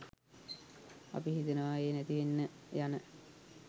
අපි හිතනවා ඒ නැතිවෙන්න යන